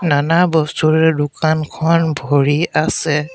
নানা বস্তুৰে দোকানখন ভৰি আছে।